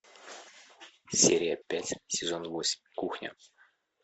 серия пять сезон восемь кухня